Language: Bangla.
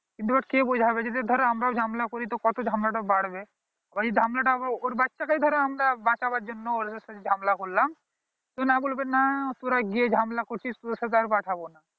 কিন্তু ওদের কে বোঝাবে যদি ধর আমারও ঝামেলা করি তো কত ঝামেলা টা বাড়বে ঐই ঝামেলা টা ধরো ওর বাচ্চাকেই বাঁচাবার জন্য ওদের সাথে ঝামেলা করলাম তো না বলবে না তোরাই গিয়ে ঝামেলা করছিস তোর সাথে আর পাঠাবো না